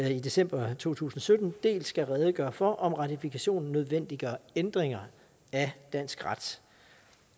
i december to tusind og sytten dels skal redegøre for om ratifikationen nødvendiggør ændringer af dansk ret